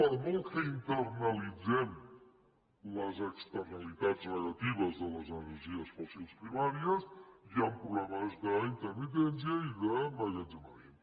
per molt que internalitzem les externalitats negatives de les energies fòssils primàries hi han problemes d’intermitència i d’emmagatzemament